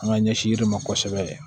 An ka ɲɛsin yirima kosɛbɛ